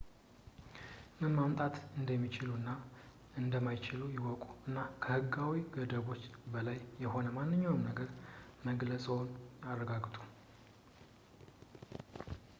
ምን ማምጣት እንደሚችሉ እና እንደማይችሉ ይወቁ እና ከሕጋዊ ገደቦች በላይ የሆነ ማንኛውንም ነገር መግለፅዎን ያረጋግጡ